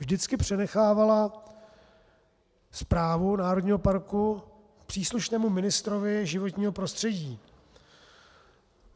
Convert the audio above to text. Vždycky přenechávala správu národního parku příslušnému ministrovi životního prostředí.